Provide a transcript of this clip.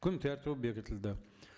күн тәртібі бекітілді